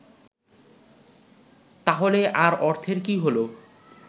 তাহলে আর অর্থের কী হল